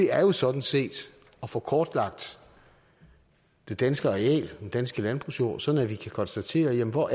er jo sådan set at få kortlagt det danske areal den danske landbrugsjord sådan at vi kan konstatere hvor